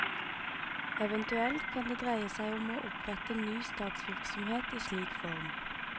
Eventuelt kan det dreie seg om å opprette ny statsvirksomhet i slik form.